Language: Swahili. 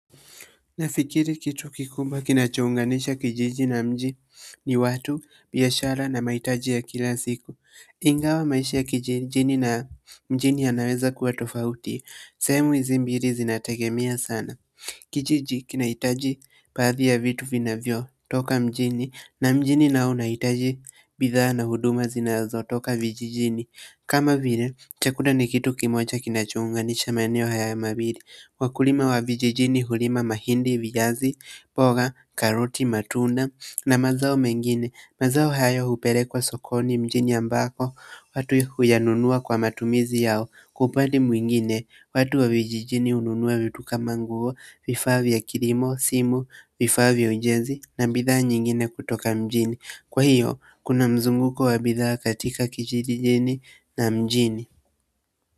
Nafikiri kitu kikubwa kinachounganisha kijiji na mji ni watu, biashara na mahitaji ya kila siku ingawa maisha kijijini na mjini yanaweza kuwa tofauti sehemu hizi mbili zinategemea sana kijiji kinahitaji baadhi ya vitu vinavyotoka mjini na mjini nao unahitaji bidhaa na huduma zinazotoka vijijini kama vile chakula ni kitu kimoja kinachounganisha maeneo haya mawili. Wakulima wa vijijini hulima mahindi, viazi, mboga, karoti, matunda, na mazao mengine. Mazao hayo hupelekwa sokoni mjini ambako, watu huyanunua kwa matumizi yao kwa upande mwingine, watu wa vijijini hununua vitu kama nguo, vifaa vya kilimo, simu, vifaa vya ujenzi na bidhaa nyingine kutoka mjini. Kwa hiyo kuna mzumguko wa bidhaa katika kijijini na mjini.